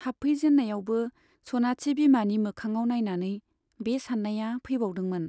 हाबफै जेन्नायावबो सनाथि बिमानि मोखाङाव नाइनानै बे सान्नाया फैबावदोंमोन।